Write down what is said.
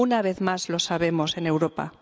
una vez más lo sabemos en Europa.